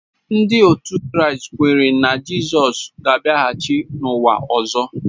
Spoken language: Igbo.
Ndị otu Kraịst kweere na Jizọs ga-abịaghachi n’ụwa ọzọ